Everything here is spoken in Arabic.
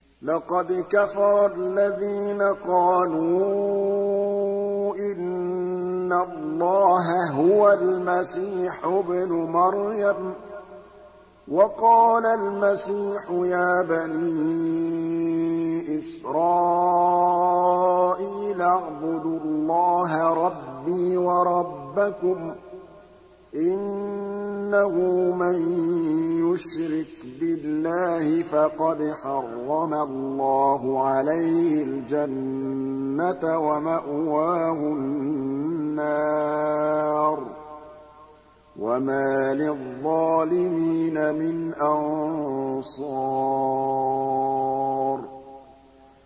لَقَدْ كَفَرَ الَّذِينَ قَالُوا إِنَّ اللَّهَ هُوَ الْمَسِيحُ ابْنُ مَرْيَمَ ۖ وَقَالَ الْمَسِيحُ يَا بَنِي إِسْرَائِيلَ اعْبُدُوا اللَّهَ رَبِّي وَرَبَّكُمْ ۖ إِنَّهُ مَن يُشْرِكْ بِاللَّهِ فَقَدْ حَرَّمَ اللَّهُ عَلَيْهِ الْجَنَّةَ وَمَأْوَاهُ النَّارُ ۖ وَمَا لِلظَّالِمِينَ مِنْ أَنصَارٍ